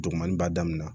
Duguman b'a daminɛ